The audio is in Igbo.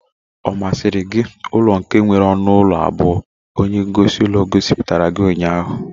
Ọ masịrị gị ụlọ nke nwere ọnụ ụlọ abụọ onye gosi ulo gosipụtara gị ụnyaahụ?